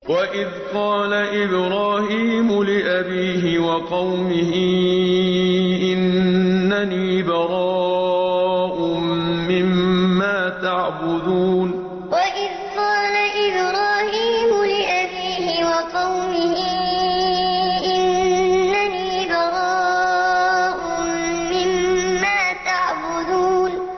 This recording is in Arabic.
وَإِذْ قَالَ إِبْرَاهِيمُ لِأَبِيهِ وَقَوْمِهِ إِنَّنِي بَرَاءٌ مِّمَّا تَعْبُدُونَ وَإِذْ قَالَ إِبْرَاهِيمُ لِأَبِيهِ وَقَوْمِهِ إِنَّنِي بَرَاءٌ مِّمَّا تَعْبُدُونَ